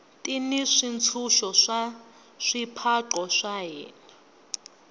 ti ni swintshuxo swa swipaqo swa hina